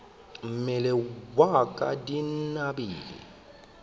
mmele wa ka di binabine